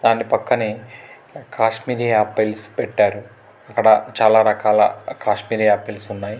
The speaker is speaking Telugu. దాని పక్కనే కాశ్మీర్య పైల్స్ పెట్టారు అక్కడ చాలా రకాల కాశ్మీర్ ఆపిల్స్ ఉన్నాయి.